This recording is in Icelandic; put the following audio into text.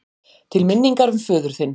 Til minningar um föður þinn.